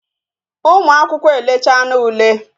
Ụmụ akwụkwọ e lechana ule